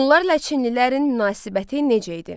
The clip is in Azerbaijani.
Hunlarla çinlilərin münasibəti necə idi?